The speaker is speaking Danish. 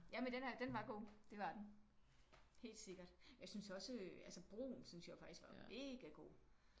Ja men den er den var god. Det var den helt sikkert. Jeg synes også altså Broen synes jeg jo faktisk var megagod